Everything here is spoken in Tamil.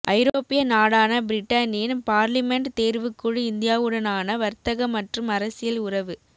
ஐரோப்பிய நாடான பிரிட்டனின் பார்லிமென்ட் தேர்வுக் குழு இந்தியாவுடனான வர்த்தக மற்றும் அரசியல் உறவு